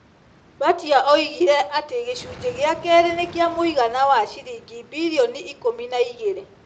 Mbatia oigire ati gĩcunjĩ gĩa kerĩ nĩ kĩa mũigana wa ciringi mbirioni ikũmi na igĩrĩ .